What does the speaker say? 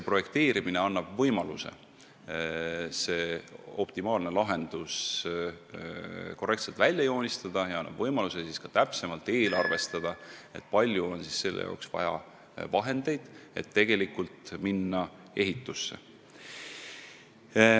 Projekteerimine annab võimaluse optimaalne lahendus korrektselt välja töötada ja siis saab ka täpsemalt eelarvestada, kui palju on vaja raha, et tegelikult ehitama hakata.